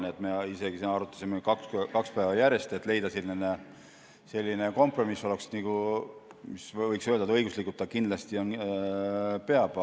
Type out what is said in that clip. Nii et me isegi arutasime kaks päeva järjest, et leida selline kompromiss, mis oleks selline, et võiks öelda: õiguslikult ta kindlasti peab.